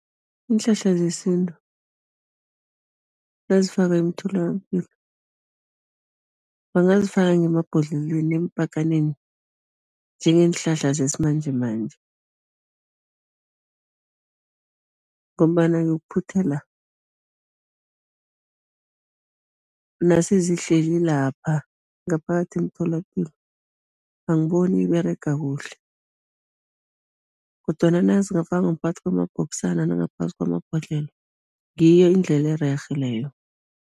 Iinhlahla zesintu nazifakwa emtholapilo, bangazifaka ngemabhodlelweni, eempakaneni, njengeenhlahla zesimanjemanje ngombana yokuphuthela, nasezihleli lapha ngaphakathi emtholapilo, angiboni iberega kuhle kodwana nazingafakwa ngaphakathi kwamabhokisana nangaphakathi kwamabhodlelo, ngiyo indlela ererhe leyo.